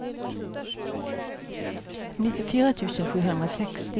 nittiofyra tusen sjuhundrasextio